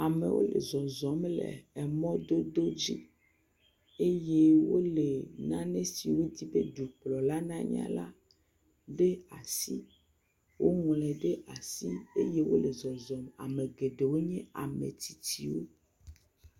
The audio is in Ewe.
amewo le zɔzɔm le emɔdodo dzi eye wóle nane si wódzi be dukplɔla na nya la ɖe asi woŋloe ɖe asi eye wóle zɔzɔm amegeɖewo nye ametsitsiwo